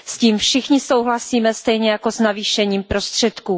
S tím všichni souhlasíme stejně jako s navýšením prostředků.